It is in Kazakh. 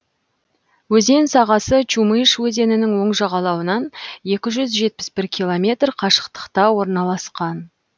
өзен сағасы чумыш өзенінің оң жағалауынан екі жүз жетпіс бір километр қашықтықта орналасқан